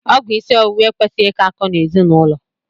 Ọgwụ isi ọwụwa ekwesịghị ị kọ akọ n'ezinaụlọ.